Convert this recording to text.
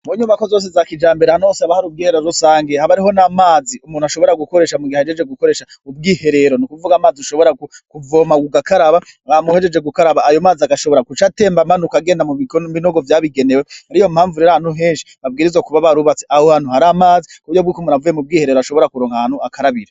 Mu nyumako zose za kija mbere hanose abahari ubwiherero azosangiye habariho n' amazi umuntu ashobora gukoresha mu gihe ajeje gukoresha ubwiherero ni ukuvuga amazi ushobora kuvoma gugakaraba bamuhejeje gukaraba ayo mazi agashobora guca atemba amana ukagenda mu bigono binogo vyabigenewe hari yo mpamvu rera ahantu henshi babwiri zo kuba ba rubatsi aho hantu hari amazi kuburyo bw'koumunuavuye mu bwiherero ashobora kuronkahanu akarabira.